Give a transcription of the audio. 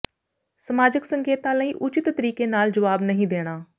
ਸਮਾਜਕ ਸੰਕੇਤਾਂ ਲਈ ਉਚਿਤ ਤਰੀਕੇ ਨਾਲ ਜਵਾਬ ਨਹੀਂ ਦੇਣਾ